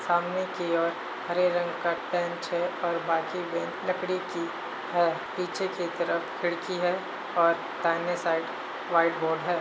सामने की ओर हरे रंग का बेंच है और बाकी बेंच लकड़ी की है। पीछे की तरफ खिड़की है और दाहिने साईड व्हाइट बोर्ड है।